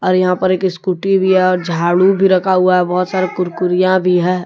यहां पर एक स्कूटी भी है और झाड़ू भी रखा हुआ है बहुत सारा कुरकुरिया भी है ।